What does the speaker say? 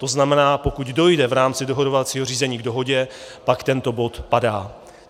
To znamená, pokud dojde v rámci dohodovacího řízení k dohodě, pak tento bod padá.